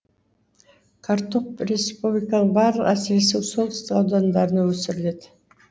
картоп республиканың барлық әсіресе солтүстік аудандарында өсіріледі